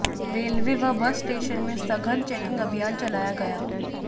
railway व bus station में सघन चेकिंग अभियान चलाया गया